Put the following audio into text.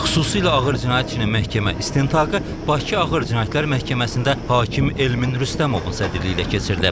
Xüsusilə ağır cinayətin məhkəmə istintaqı Bakı Ağır Cinayətlər Məhkəməsində hakim Elmin Rüstəmovun sədrliyi ilə keçirilib.